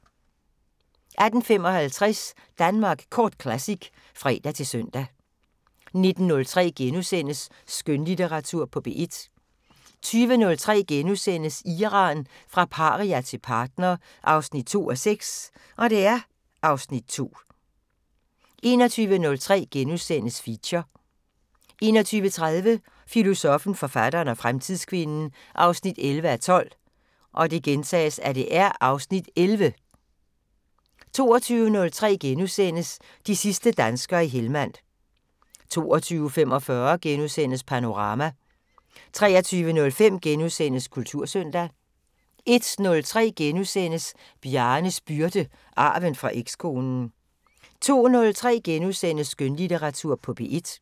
18:55: Danmark Kort Classic (fre-søn) 19:03: Skønlitteratur på P1 * 20:03: Iran – fra paria til partner 2:6 (Afs. 2)* 21:03: Feature * 21:30: Filosoffen, forfatteren og fremtidskvinden 11:12 (Afs. 11)* 22:03: De sidste danskere i Helmand * 22:45: Panorama * 23:05: Kultursøndag * 01:03: Bjarnes byrde – arven fra ekskonen * 02:03: Skønlitteratur på P1 *